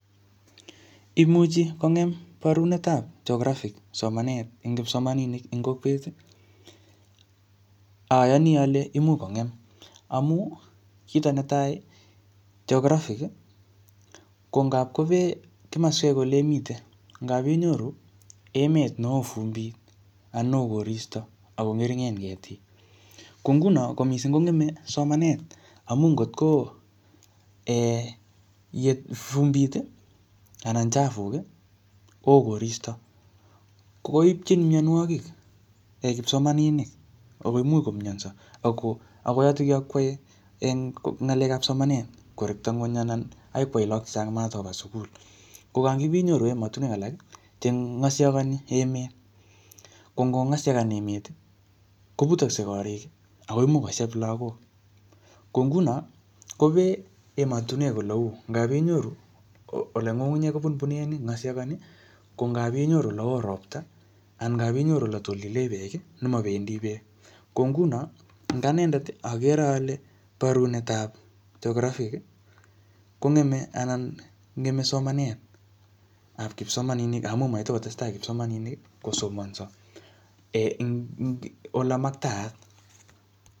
Imuchi kongem barunetab geographic somanet eng kipsomaninik eng kokwet. Ayani ale imuch kongem. Amuu, kito netai, geographic konagpkobee kimaswek ole imitei. Ngapinyoru emet neoo vumbit, anan neoo koristo, akong'ering'en ketik. Ko nguno ko missing kongeme somanet, amu ngotko um yet vumbit, anna chafuk, koo koristo. Koipchini mianwogik kipsomaninik. Akoimuch komyanso. Ako yotokyo kwae eng ng'alekap somanet korekto ng'uny anan akoi kwae lagok chechang matkoba sugul. Ko ngakipinyoru emotuwek alak che ng'asiagani emet. Ko ngong'asiagan emet, kobutakse korik, akoimuch kosheb lagok. Ko nguno, kopee emotunwek ole uu. Ngapinyoru ole ng'ung'unyek kobunbune, ng'asiagani. Ko ngapinyoru ole oo ropta, anan ngapinyoru ole tolile beek, nemabendi beek. Ko nguno, eng anendet, agere ale borunetab geographic, kongeme anan ngeme somanet ap kipsomaninik, amuu matikostesteai kipsomaninik kosomanso um ing ole maktaat.